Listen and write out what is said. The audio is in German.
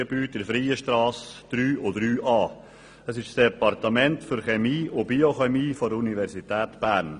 Darin befindet sich das Departement für Chemie und Biochemie der Universität Bern.